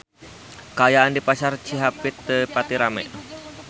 Kaayaan di Pasar Cihapit teu pati rame